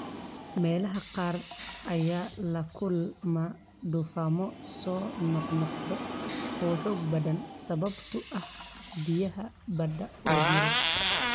Meelaha qaar ayaa la kulma duufaanno soo noqnoqda oo xoog badan sababtoo ah biyaha badda oo diiran.